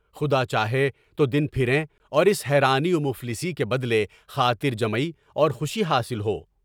خدا چاہے تو دن پھریں گے اور اس حیرانی و مفلسی کے بدلے خاطر جمئی اور خوشی حاصل ہو۔